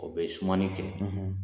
O bɛ sumani kɛ